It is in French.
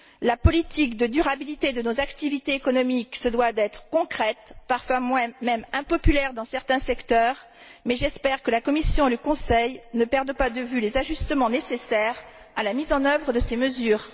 La politique de durabilité de nos activités économiques se doit d'être concrète, parfois même impopulaire dans certains secteurs, mais j'espère que la Commission et le Conseil ne perdent pas de vue les ajustements nécessaires à la mise en œuvre de ces mesures.